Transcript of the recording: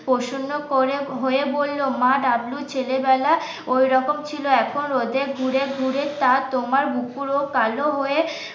প্রশ্ন করে হয়ে বলল মা ডাবলু ছেলে বেলা ওইরকম ছিল এখন রোদে ঘুরে ঘুরে তা তোমার বুকুর ও কাল হয়ে